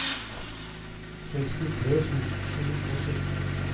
sekstitre tusen sju hundre og sytten